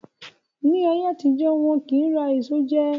Ni ayé àtijọ́, wọn kì ń rà èso jẹ